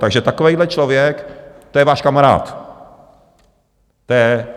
Takže takovýhle člověk, to je váš kamarád.